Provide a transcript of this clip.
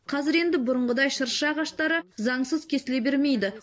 қазір енді бұрынғыдай шырша ағаштары заңсыз кесіле бермейді